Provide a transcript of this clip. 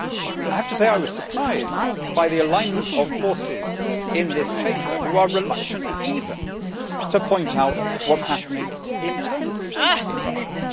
I have to say I was surprised by the alignment of forces in this Chamber who are reluctant even to point out what is happening internally in Russia.